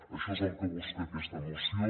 això és el que busca aquesta moció